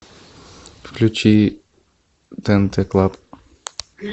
включи тнт клаб